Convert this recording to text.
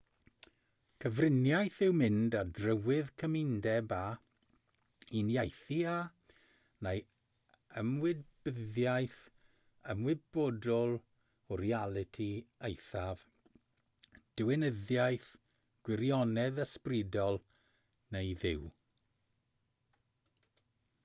cyfriniaeth yw mynd ar drywydd cymundeb â uniaethu â neu ymwybyddiaeth ymwybodol o realiti eithaf diwinyddiaeth gwirionedd ysbrydol neu dduw